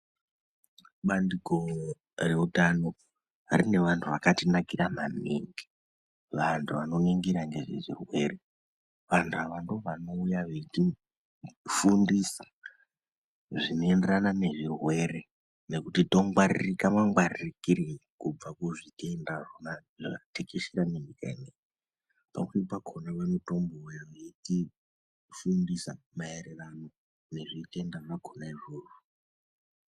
Bandiko reutano rine vantu vakatinakira manhingi. Vantu vanoningira ngezvezvirwere, vantu ava ndivo vanouya veitifundisa zvinoenderana ngezvirwere, ngekuti tongwaririka mangwaririkei kubva kuzvitenda zvakona zvakatekeshera nenyika ino iyi. Pamweni pakona vanotombouya veitifundisa maererano ngezvitenda zvakona izvozvo.